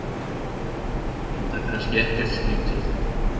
Enda kannski ekkert skrítið.